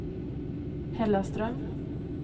Hällaström